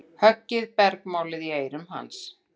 Höggið bergmálaði í eyrum hans.